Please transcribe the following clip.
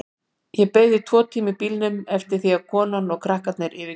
Ég beið tvo tíma í bílnum eftir því að konan og krakkarnir yfirgæfu húsið.